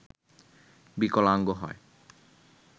বিকলাঙ্গ হয়